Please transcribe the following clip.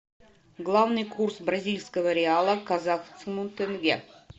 главный курс бразильского реала к казахскому тенге